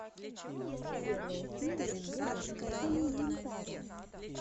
первая серия гена халилинтара